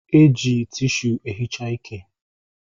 E ji tishu e hichaa ike